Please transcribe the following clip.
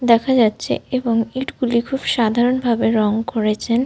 দেখা যাচ্ছে এবং ইঁট গুলি খুব সাধারণ ভাবে রঙ করেছেন।